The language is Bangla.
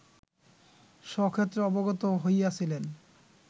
স্বক্ষেত্রে অবগত হইয়াছিলেন